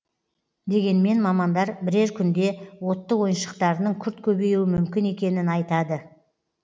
дегенмен мамандар бірер күнде отты ойыншықтарының күрт көбеюі мүмкін екенін айтады